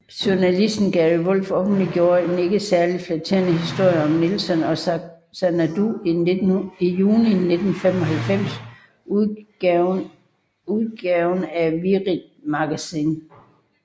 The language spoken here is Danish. Journalisten Gary Wolf offenligjorde en ikke særligt flatterende historie om Nelson og Xanadu i juni 1995 udgaven af Wired magazine